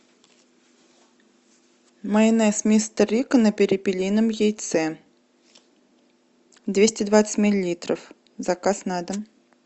майонез мистер рикко на перепелином яйце двести двадцать миллилитров заказ на дом